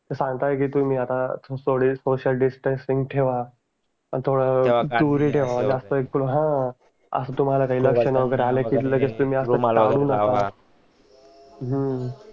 सांगतात की तुम्ही थोड सोसीयल डिस्टन्स ठेवा थोड दूरी ठेवा ह अस तुम्हाला काही लक्षण वागरे आले लगेच तुम्ही हा हम्म